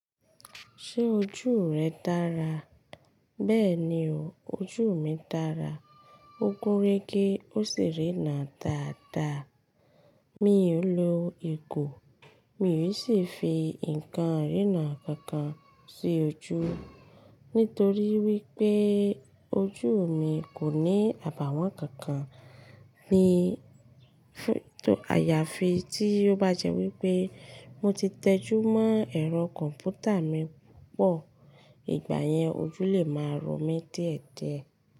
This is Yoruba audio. Ṣé ojú rẹ dára? Bẹ́ẹ̀ni o, ojú mi dára. Ó gún réké ó sì rína dáadáa. Mi ò lo ìgo, mi ò sì fi nǹkan irína kankan sí ojú. Nítorí wípé ojú mi kò ní àbàwón kankan ní àyàfi tí ó bá jẹ́ wípé mo ti tẹjú mọ́ ẹ̀rọ kọ̀m̀pútà mi púpọ̀, ìgbà yẹn ojú lè máa ro mí díẹ̀díẹ̀.